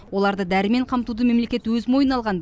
оларды дәрімен қамтуды мемлекет өз мойнына алған